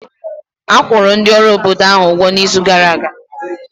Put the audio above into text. A kwụrụ ndị ọrụ obodo ahụ ụgwọ n'izu gara aga